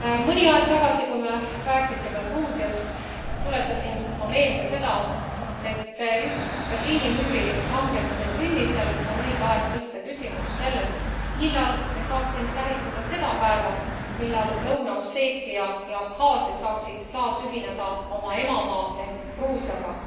Mõni aeg tagasi, kui me rääkisime Gruusiast, tuletasin ma meelde seda, et just Berliini müüri langemise aastapäeva künnisel on õige aeg tõstatada küsimus selle kohta, millal me saaksime tähistada seda päeva, millal Lõuna Osseetia ja Abhaasia saaksid taas ühineda oma emamaa ehk Gruusiaga.